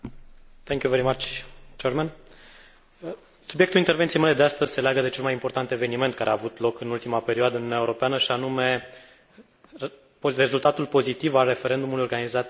Subiectul intervenției mele de astăzi se leagă de cel mai important eveniment care a avut loc în ultima perioadă în Uniunea Europeană, și anume rezultatul pozitiv al referendumului organizat de Irlanda în vederea ratificării Tratatului de la Lisabona.